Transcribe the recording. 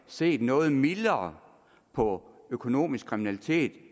set noget mildere på økonomisk kriminalitet